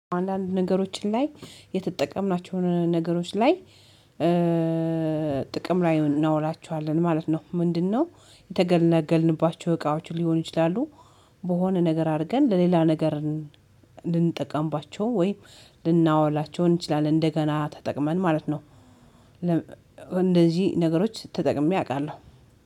አንዳንድ ነገሮችን ላይ የተጠቀምናቸውን ነገሮች ላይ ጥቅም ላይ እናውላችኋለን ማለት ነው። ምንድነው? የተገለገልንባቸው እቃዎች ሊሆኑ ይችላሉ በሆነ ነገር አድርገን ለሌላ ነገር ልንጠቀምባቸው ወይም ልናወላቸው እንችላለን እንደገና ተጠቅመን ማለት ነው። እንደዚህ ነገሮች ተጠቅሜ አውቃለሁ